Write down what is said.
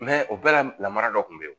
o bɛɛ la lamara dɔ kun be yen